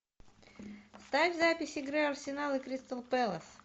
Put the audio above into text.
ставь запись игры арсенал и кристал пэлас